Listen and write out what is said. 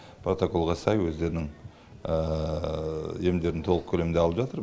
протоколға сай өздерінің емдерін толық көлемде алып жатыр